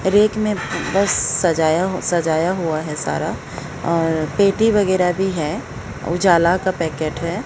Rake में बस सजाया हुआ है सारा और पेटी वगैरह भी है उजाला का पैकेट है।